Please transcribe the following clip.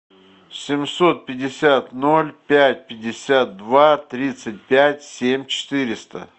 семьсот пятьдесят ноль пять пятьдесят два тридцать пять семь четыреста